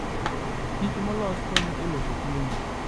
kichmolos konyo e loso chiemo.